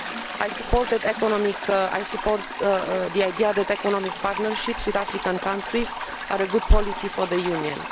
I support the idea that economic partnerships with African countries are a good policy for the Union.